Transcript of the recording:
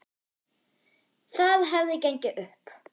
Það hefði gengið upp.